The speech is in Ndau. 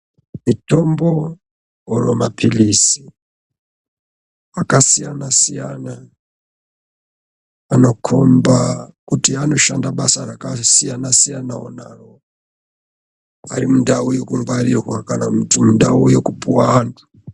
Mitombo oro mapilizi akasiyana siyana anokomba kuti anoshanda basa rakasiyana siyanawo naroo ari mundau yekungwarirwa kana kuti mundau yekupuwa antu.